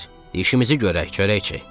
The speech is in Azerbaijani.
İşimizi görək, çörəkçiy.